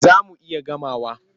Za mu iya gamawa.